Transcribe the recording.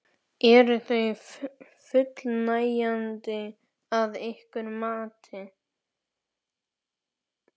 Eru þau fullnægjandi að ykkar mati?